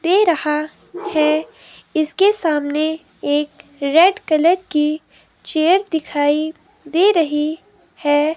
दे रहा है। इसके सामने एक रेड कलर की चेयर दिखाई दे रही है।